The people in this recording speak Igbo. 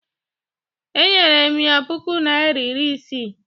Enyere m ya puku naịra iri isii